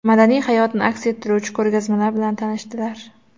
madaniy hayotini aks ettiruvchi ko‘rgazmalar bilan tanishdilar.